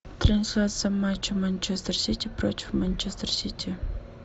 трансляция матча манчестер сити против манчестер сити